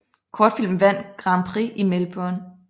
Kortfilmen vandt Grand Prix i Melbourne